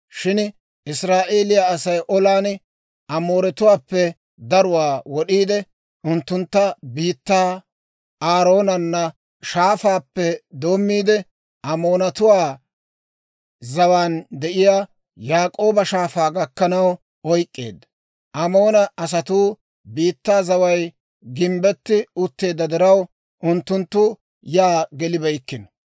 Shin Israa'eeliyaa Asay olan Amooretuwaappe daruwaa wod'iide, unttuntta biittaa Arnnoona Shaafaappe doommiide, Amoonatuwaa zawaan de'iyaa Yaabook'a Shaafaa gakkanaw oyk'k'eedda. Amoona asatuu biittaa zaway gimbbetti utteedda diraw, unttunttu yaa gelibeykkino.